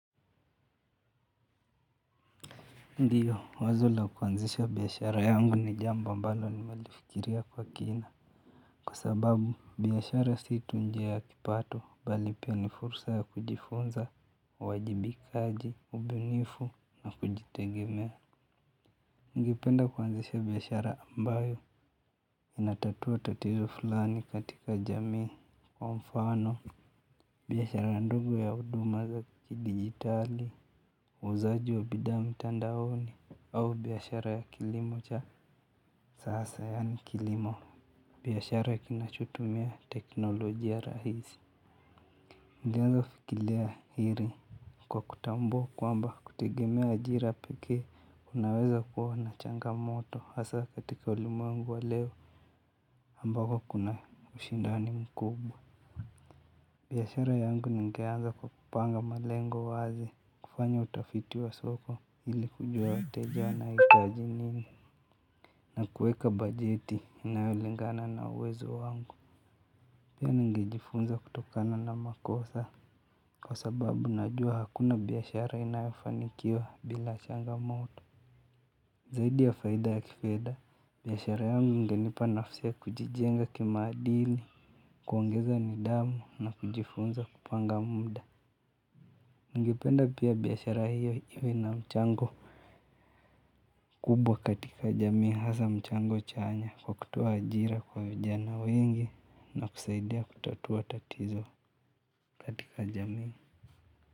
Ndio, wazo la kuanzisha biashara yangu ni jambo ambalo nimelifikiria kwa kina kwa sababu, biashara si tu njia ya kipato, bali pia ni fursa ya kujifunza, uwajibikaji, ubunifu, na kujitegemea. Ningependa kuanzisha biashara ambayo, inatatua tatizo fulani katika jamii kwa mfano, biashara ndogo ya huduma za kidigitali uuzaji wa bidhaa mtandaoni au biashara ya kilimo cha sasa yaani kilimo biashara kinachutumia teknolojia rahizi. Nilianza fikiria hili kwa kutambua kwamba kutegemea ajira pekee. Kunaweza kuwa na changamoto hasa katika ulimwengu wa leo ambako kuna ushindani mkubwa. Biashara yangu ninganza kwa kupanga malengo wazi, kufanya utafiti wa soko ili kujua wateja wanahititaji nini na kuweka bajeti inayo lingana na uwezo wangu. Pia ningejifunza kutokana na makosa kwa sababu najua hakuna biashara inayofanikiwa bila changamoto. Zaidi ya faida ya kifedha, biashara yangu ingenipa nafasi ya kujijenga kimaadili, kuongeza nidhamu na kujifunza kupanga muda. Ningependa pia biashara hiyo iwe na mchango kubwa katika jamii hasa mchango chanya kwa kutoa ajira kwa vijana wengi na kusaidia kutatua tatizo katika jamii.